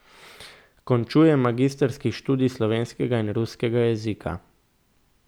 Končuje magistrski študij slovenskega in ruskega jezika.